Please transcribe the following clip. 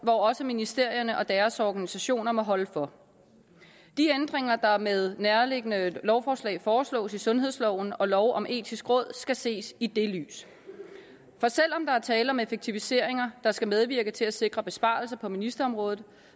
også ministerierne og deres organisationer må holde for de ændringer der med nærværende lovforslag foreslås af sundhedsloven og lov om det etiske råd skal ses i det lys for selv om der er tale om effektiviseringer der skal medvirke til at sikre besparelser på ministerområdet